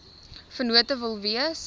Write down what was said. vennote wil wees